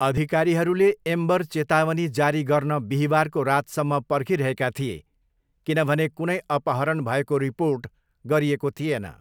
अधिकारीहरूले एम्बर चेतावनी जारी गर्न बिहीबारको रातसम्म पर्खिरहेका थिए किनभने कुनै अपहरण भएको रिपोर्ट गरिएको थिएन।